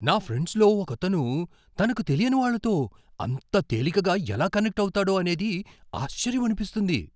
నా ఫ్రెండ్స్లో ఒకతను తనకు తెలియని వాళ్ళతో అంత తేలికగా ఎలా కనెక్ట్ అవుతాడో అనేది ఆశ్చర్యమనిపిస్తుంది.